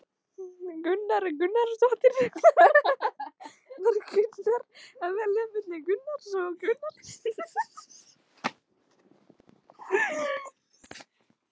Sunna Sæmundsdóttir: Var erfitt að velja milli Argentínu og Íslands?